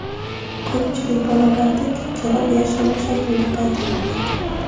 Ko‘pchilik bolalarda gijjalar yashirin shaklda paydo bo‘ladi.